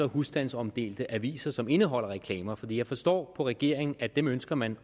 husstandsomdelte aviser som indeholder reklamer for jeg forstår på regeringen at dem ønsker man